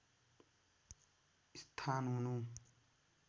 स्थान हुनु